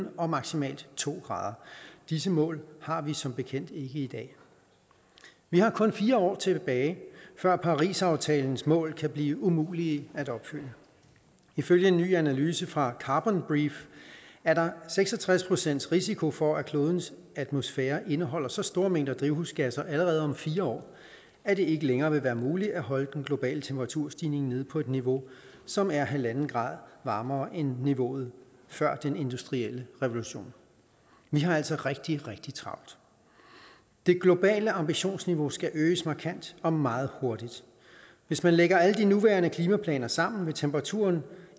og maksimalt to grader disse mål har vi som bekendt ikke i dag vi har kun fire år tilbage før parisaftalens mål kan blive umulige at opfylde ifølge en ny analyse fra carbon brief er der seks og tres procent risiko for at klodens atmosfære indeholder så store mængder drivhusgasser allerede om fire år at det ikke længere vil være muligt at holde den globale temperaturstigning nede på et niveau som er halvanden grad varmere end niveauet før den industrielle revolution vi har altså rigtig rigtig travlt det globale ambitionsniveau skal øges markant og meget hurtigt hvis man lægger alle de nuværende klimaplaner sammen vil temperaturen